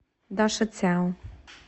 дашицяо